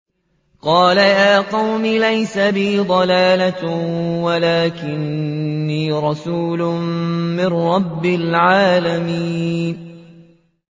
قَالَ يَا قَوْمِ لَيْسَ بِي ضَلَالَةٌ وَلَٰكِنِّي رَسُولٌ مِّن رَّبِّ الْعَالَمِينَ